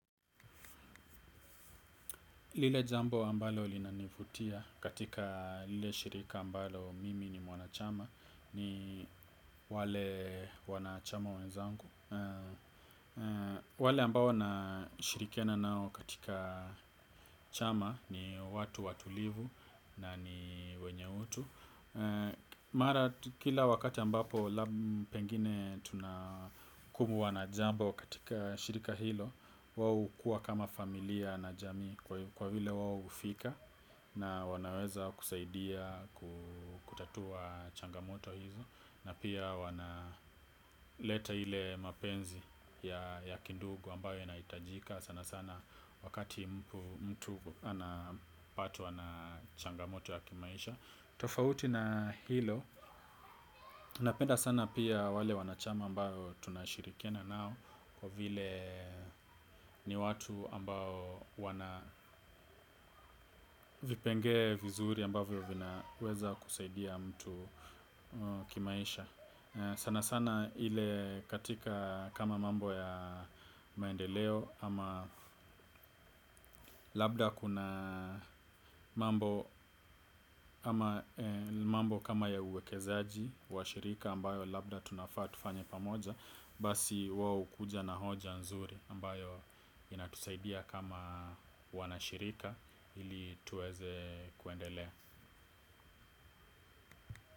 Lile jambo ambalo linanivutia katika lile shirika ambalo mimi ni mwanachama ni wale wanachama wenzangu. Wale ambao na shirikiana nao katika chama ni watu watulivu na ni wenye utu. Mara kila wakati ambapo labda pengine tunakumbwa na jambo katika shirika hilo wao hukuwa kama familia na jamii kwa vile wao hufika. Na wanaweza kusaidia kutatua changamoto hizo. Na pia wana leta ile mapenzi ya kindugu ambayo yanahitajika. Sana sana wakati mtu anapatwa na changamoto ya kimaisha. Tofauti na hilo, napenda sana pia wale wanachama ambao tunashirikiana nao kwa vile ni watu ambao wana vipengele vizuri ambayo vinaweza kusaidia mtu kimaisha. Sana sana ile katika kama mambo ya maendeleo ama labda kuna mambo kama ya uwekezaji wa shirika ambayo labda tunafaa tufanye pamoja. Basi wao hukuja na hoja nzuri ambayo inatusaidia kama wanashirika ili tuweze kuendelea.